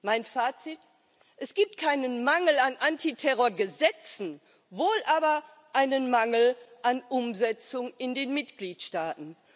Mein Fazit Es gibt keinen Mangel an Antiterrorgesetzen wohl aber einen Mangel an Umsetzung in den Mitgliedstaaten.